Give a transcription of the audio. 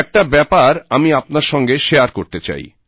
একটা ব্যাপার আমি আপনার সঙ্গে শেয়ার করতে চাই